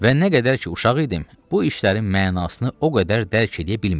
Və nə qədər ki uşaq idim, bu işlərin mənasını o qədər dərk eləyə bilmirdim.